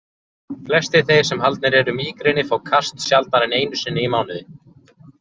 Flestir þeir sem haldnir eru mígreni fá kast sjaldnar en einu sinni í mánuði.